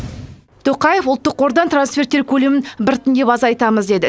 тоқаев ұлттық қордан трансферттер көлемін біртіндеп азайтамыз деді